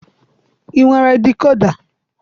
I nwere dikoda?